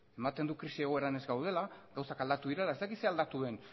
ematen du krisi egoeran ez gaudela gauzak aldatu direla ez dakit zer aldatu den